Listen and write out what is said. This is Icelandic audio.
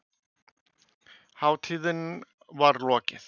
Hátíðinni var lokið.